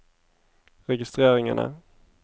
registreringene